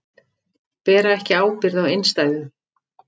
Bera ekki ábyrgð á innstæðum